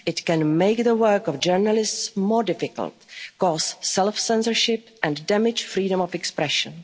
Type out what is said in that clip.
as ever. It can make the work of journalists more difficult, cause self-censorship and damage freedom